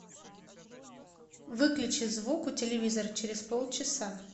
выключи звук у телевизора через полчаса